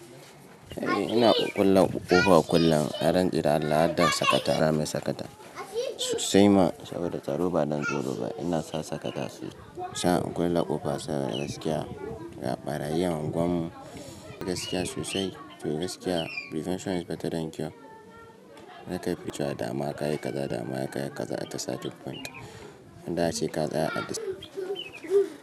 Eh ina ƙuƙƙulle ƙofa kullun, na rantse da Allah hadda sakata, ra mai sakata. Sai ma saboda tsaro ba dan tsoro ba, ina sa sakata sa in ƙulle ƙofa saboda gaskiya, ga ɓarayin a unguwan mu. Gaskiya sosai to gaskiya, prevention is better than cure. Na kafi cewa dama kayi kaza dama kayi kaza at a starting point inda ace ka tsaya a this.